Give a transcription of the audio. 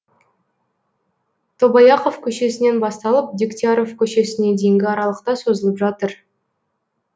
тобаяқов көшесінен басталып дегтяров көшесіне дейінгі аралықта созылып жатыр